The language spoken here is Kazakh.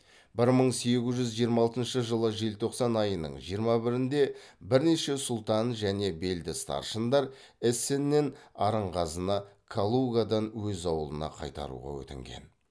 бір мың сегіз жүз жиырма алтыншы жылы желтоқсан айының жиырма бірінде бірнеше сұлтан және белді старшындар эссеннен арынғазыны калугадан өз ауылына қайтаруға өтінген